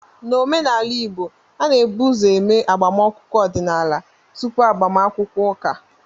N'omenala Igbo, a na-ebu ụzọ eme agbamakwụkwọ ọdịnala tupu agbamakwụkwọ ụka